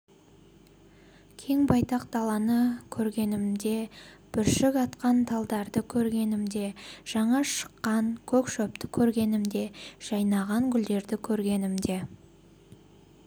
кең байтақ даланы көргенімде бүршік атқан талдарды көргенімде жаңа шыққан көк шөпті көргенімде жайнаған гүлдерді көргенімде